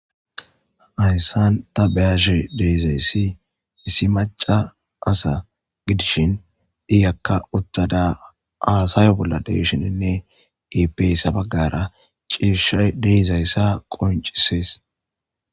Haysan ta beyashe de'izaysi maca asa gidishin iyaka uttada hadayo nolla de'ishinnine ippe issi bagara cishay de'izaysa qoncises